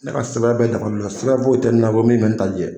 Ne ka sɛbɛn bɛɛ dafalen don sɛbɛn foyi tɛ na min bɛ bɛ ne ta jɛ